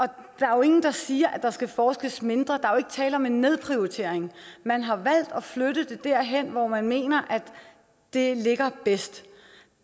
der er jo ingen der siger at der skal forskes mindre er tale om en nedprioritering man har valgt at flytte det derhen hvor man mener at det ligger bedst